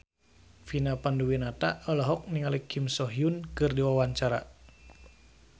Vina Panduwinata olohok ningali Kim So Hyun keur diwawancara